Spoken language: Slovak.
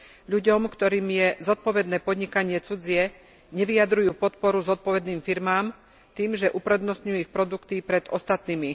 Ľuďom, ktorým je zodpovedné podnikanie cudzie, nevyjadrujú podporu zodpovedným firmám, tým že uprednostňujú ich produkty pred ostatnými.